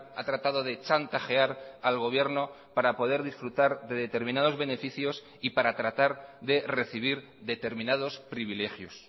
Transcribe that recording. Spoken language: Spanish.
ha tratado de chantajear al gobierno para poder disfrutar de determinados beneficios y para tratar de recibir determinados privilegios